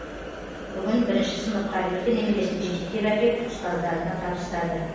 бүгін бірінші сыныпқа екі немересін жетектеп әкеп ұстаздарына табыстады